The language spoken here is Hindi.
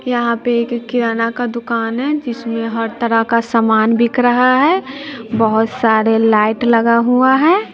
यहां पे एक किराना का दुकान है जिसमें हर तरह का समान बिक रहा है बहुत सारे लाइट लगा हुआ है।